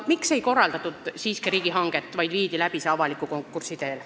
Miks ei korraldatud siiski riigihanget, vaid viidi läbi avalik konkurss?